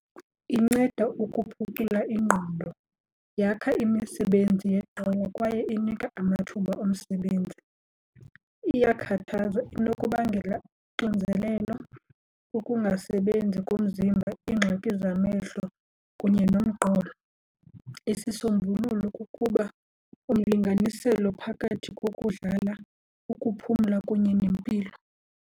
Inceda ukuphucula ingqondo, yakha imisebenzi yeqonga kwaye inika amathuba omsebenzi. Iyakhathaza, inokubangela uxinzelelo, ukungasebenzi komzimba, iingxaki zamehlo kunye nomqolo. Isisombululo kukuba umlinganiselo phakathi kokudlala ukuphumla kunye nempilo.